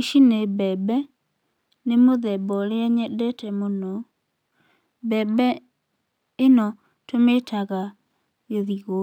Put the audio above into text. Ici nĩ mbembe, nĩ mũthemba ũrĩa nyendete mũno. Mbembe ĩno tũmĩtaga gĩthigũ.